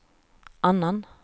annan